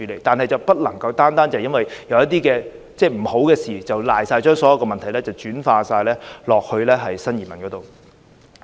但是，不能單單因為有一些不好的事情發生了，便把所有問題完全推卸到新移民身上。